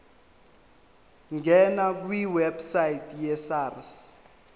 ngena kwiwebsite yesars